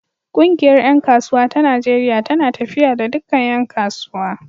Ƙungiyar ƴan kasuwa ta Najeriya tana tafiya da dukkan ƴan kasuwa.